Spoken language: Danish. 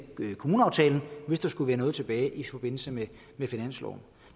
i kommuneaftalen hvis der skulle være noget tilbage i forbindelse med finansloven